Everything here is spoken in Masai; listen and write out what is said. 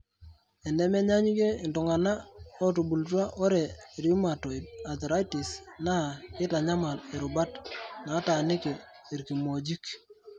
enemenyaanyukie iltung'an ootubulutua ore rheumatoid arthritis, naa keitanyamal irubat nataaniki irkimojik.